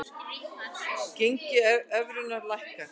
Gengi evrunnar lækkar